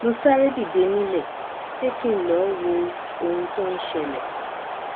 mo sáré dìde nílé pé kí n lọọ wo ohun tó ń ṣẹlẹ